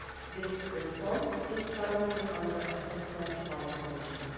This response is currently under assessment by the Commission.